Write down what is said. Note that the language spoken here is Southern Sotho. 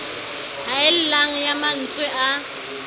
haellang ya ma ntswe a